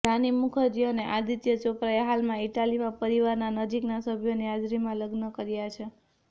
રાની મુખરજી અને આદિત્ય ચોપરાએ હાલમાં ઇટાલીમાં પરિવારના નજીકના સભ્યોની હાજરીમાં લગ્ન કર્યા છે